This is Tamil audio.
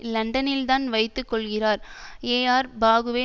லண்டனில்தான் வைத்து கொள்கிறார் ஏஆர் பாகுவே